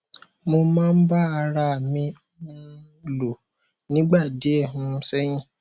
mo máa ń bá ara à mi um lò nígbà díẹ um sẹyìn